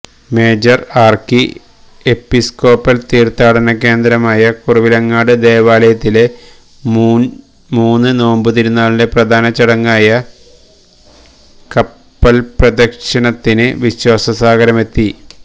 major archiepiscopal തീര്ത്ഥാടന കേന്ദ്രമായ കുറവിലങ്ങാട് ദേവാലയത്തിലെ മൂന്ന് നോമ്പ് തിരുനാളിന്റെ പ്രധാന ചടങ്ങായ കപ്പല്പ്രദക്ഷിണത്തിന് വിശ്വാസസാഗരമെത്തി